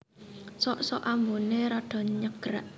Sok sok ambuné rada nyegrak